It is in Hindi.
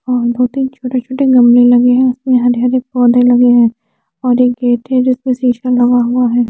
और दो तिन छोटे छोटे गमले लगे है उसमे हरे हरे पोधे लगे है और एक गेट है जिसमे शीशा लगा हुआ है।